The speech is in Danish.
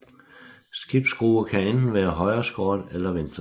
Skibsskrue kan enten være højreskåren eller venstreskåren